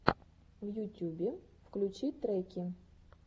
в ютюбе включи треки